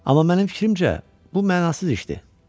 Amma mənim fikrimcə, bu mənasız işdir.